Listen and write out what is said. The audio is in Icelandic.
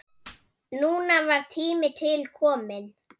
Núna var tími til kominn.